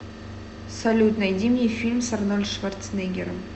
салют найди мне фильм с арнольд шварцнеггером